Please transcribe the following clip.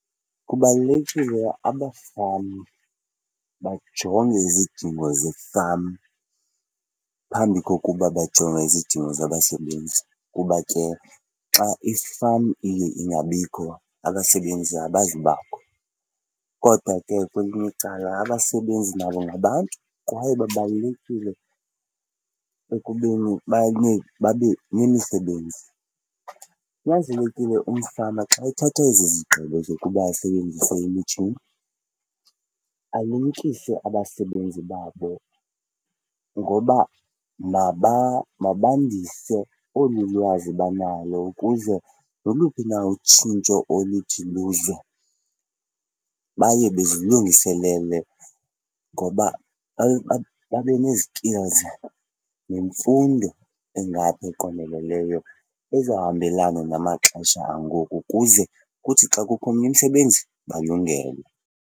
Kubalulekile abafama bajonge izidingo ze-farm phambi kokuba bajonge izidingo zabasebenzi kuba ke xa i-farm ilinge ingabikho abasebenzi abazubakho. Kodwa ke kwelinye icala abasebenzi nabo ngabantu kwaye babalulekile ekubeni abanye babe nemisebenzi. Kunyanzelekile umfama xa ethatha ezi zigqibo zokuba asebenzise imitshini alumkise abasebenzi babo ngoba mabandise olu lwazi banalo ukuze noluphi na utshintsho oluthi luze baye bezilungiselele ngoba babe nezi skills nemfundo engaphaa eqondeleneyo ezohambelana namaxesha angoku kuze kuthi xa kukho omnye umsebenzi, balungelwe.